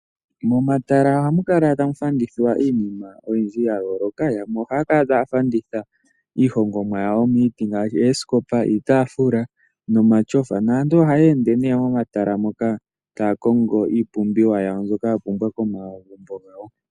Momatala ohamu kala tamu landithwa iinima oyindji ya yooloka. Yamwe ohaya kala taya landitha iihongomwa yawo yaza miiti ngaashi oosikopa, iitaafula nomatyofa naantu ohaya ende nee momatala moka taya kongo iipumbiwanyawo mbyoka yapumbwa komagumbo gawo.